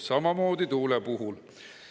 Samamoodi tuule puhul.